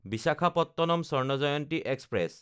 Visakhapatnam Swarna Jayanti express